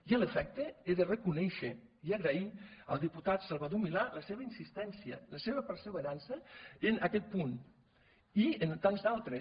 i a l’efecte he de reconèixer i agrair al diputat salvador milà la seva insistència la seva perseverança en aquest punt i en tants d’altres